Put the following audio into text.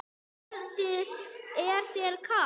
Hjördís: Er þér kalt?